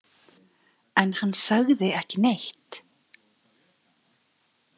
En hann sagði ekki neitt?